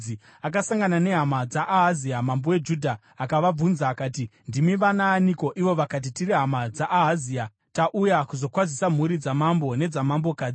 akasangana nehama dzaAhazia mambo weJudha akavabvunza akati, “Ndimi vanaaniko?” Ivo vakati, “Tiri hama dzaAhazia, tauya kuzokwazisa mhuri dzamambo nedzamambokadzi.”